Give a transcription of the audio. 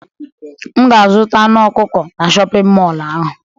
M ga-azụta anụ ọkụkọ na shọpịn mọlụ ahụ.